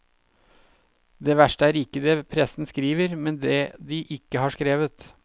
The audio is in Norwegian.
Det verste er ikke det pressen skriver, men det de ikke har skrevet.